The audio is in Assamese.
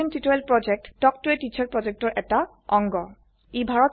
কথন শিক্ষণ প্ৰকল্প তাল্ক ত a টিচাৰ প্ৰকল্পৰ এটা অংগ